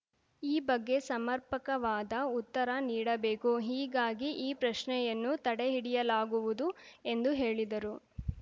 ಈ ಬಗ್ಗೆ ಸಮರ್ಪಕವಾದ ಉತ್ತರ ನೀಡಬೇಕು ಹೀಗಾಗಿ ಈ ಪ್ರಶ್ನೆಯನ್ನು ತಡೆಹಿಡಲಾಗುವುದು ಎಂದು ಹೇಳಿದರು